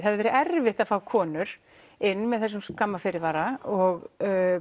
hefði verið erfitt að fá konur inn með þessum skamma fyrirvara og